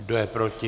Kdo je proti?